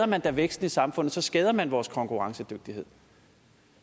man da væksten i samfundet og så skader man vores konkurrencedygtighed